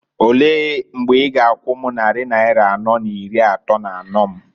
Olee mgbe i g'akwu m nnarị naịra anọọ n'iri atọọ n'anọọ m?